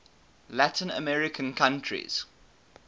latin american countries